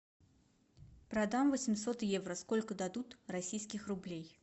продам восемьсот евро сколько дадут российских рублей